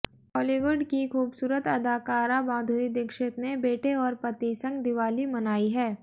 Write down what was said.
बॉलीवुड की खूबसूरत अदाकारा माधुरी दीक्षित ने बेटे और पति संग दिवाली मनाई है